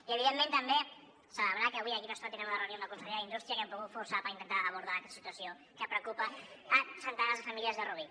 i evidentment també celebrar que avui d’aquí una estona tindrem una reunió amb la consellera d’indústria que hem pogut forçar per intentar abordar aquesta situació que preocupa a centenars de famílies de rubí